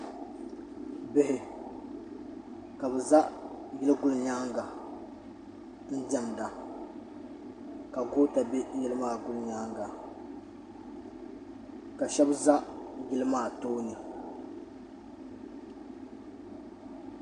Bihi ka bi za yili guli yɛanga n dɛm da ka goota bɛ yili maa guli yɛanga ka shɛba za yili maa tooni.